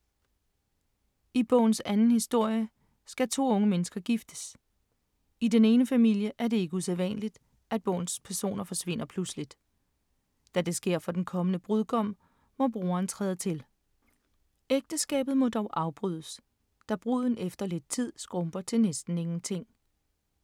I bogens anden historie skal to unge mennesker giftes. I den ene familie er det ikke usædvanligt, at personer forsvinder pludseligt. Da det sker for den kommende brudgom, må broren træde til. Ægteskabet må dog afbrydes, da bruden efter lidt tid skrumper til næsten ingenting.